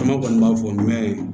Caman kɔni b'a fɔ mɛn